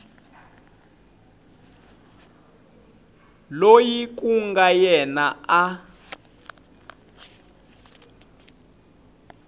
loyi ku nga yena a